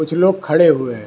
कुछ लोग खड़े हुए हैं।